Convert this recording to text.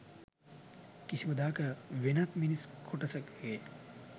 කිසිම දාක වෙනත් මිනිස් කොටසකගේ